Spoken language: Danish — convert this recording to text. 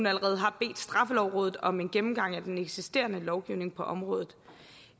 allerede har bedt straffelovrådet om en gennemgang af den eksisterende lovgivning på området